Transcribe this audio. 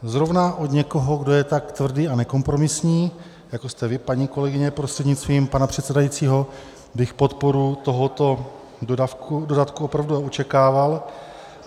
Zrovna od někoho, kdo je tak tvrdý a nekompromisní, jako jste vy, paní kolegyně prostřednictvím pana předsedajícího, bych podporu tohoto dodatku opravdu očekával.